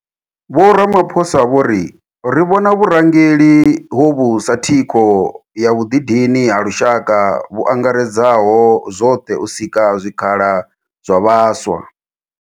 Vho Ramaphosa vho ri, Ri vhona vhurangeli hovhu sa thikho ya vhuḓidini ha lushaka vhu angaredzaho zwoṱhe u sika zwikhala zwa vhaswa.